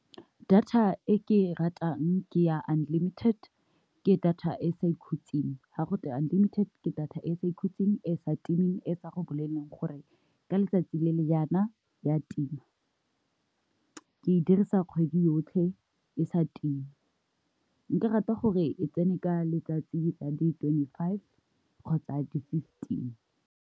Data e ke e ratang ke ya unlimited ke data e e sa ikhutseng, ga gote unlimited ke data e e sa ikhutseng, e sa timeng, e sa go bolelleng gore ka letsatsi le le yana ya tima, ke e dirisa kgwedi yotlhe e sa time. Nka rata gore e tsene ka letsatsi la di twenty-five kgotsa di-fifteen.